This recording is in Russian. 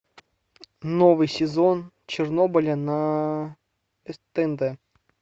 новый сезон чернобыля на тнт